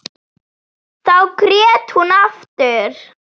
Þá grét hún aftur.